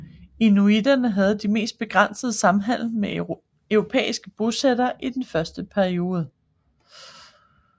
Inuitterne havde mere begrænset samhandel med europæiske bosættere i den første periode